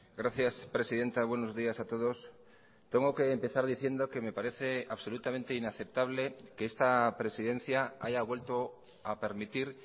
gracias presidenta buenos días a todos tengo que empezar diciendo que me parece absolutamente inaceptable que esta presidencia haya vuelto a permitir